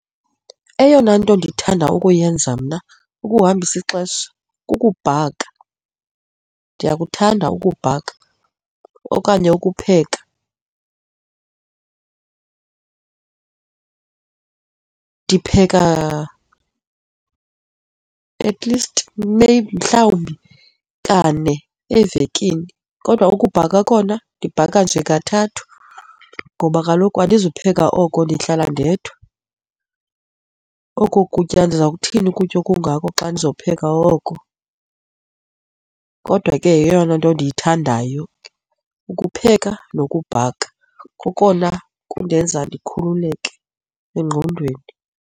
Eyona nto ndithanda ukuyenza mna ukuhambisa ixesha kukubhaka, ndiyakuthanda ukubhaka okanye ukupheka ndipheka at least maybe, mhlawumbi kane evekini kodwa ukubhaka khona ndibhaka nje kathathu ngoba kaloku andizupheka oko. Ndihlala ndedwa, oko kutya ndiza kuthini ukutya okungako xa ndizopheka oko. Kodwa ke, yeyona nto endiyithandayo ukupheka nokubhaka kokona kundenza ndikhululeke engqondweni.